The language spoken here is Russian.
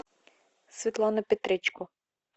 светлана петречко